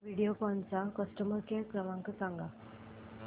व्हिडिओकॉन चा customer care क्रमांक सांगा